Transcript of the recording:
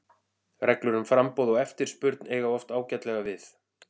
Reglur um framboð og eftirspurn eiga oft ágætlega við.